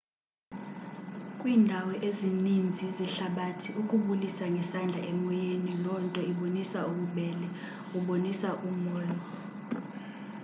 kwiindawo ezininzi zehlabathi ukubulisa ngesandla emoyeni lonto ibonisa ububele ubonisa u molo